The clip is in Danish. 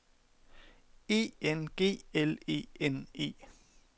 E N G L E N E